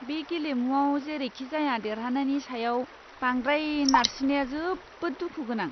बे गेलेमुआव जेरैखिजाया देरहानायनि सायाव बांद्राय नारसिननाया जोबोद दुखु गोनां!